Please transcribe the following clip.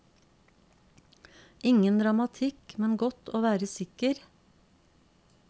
Ingen dramatikk, men godt å være sikker.